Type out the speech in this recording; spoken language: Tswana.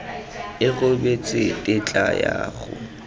a rebotse tetla ya go